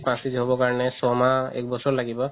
পাচ কেজি হ'ব কাৰণে চয় মাহ একবছৰ লাগিব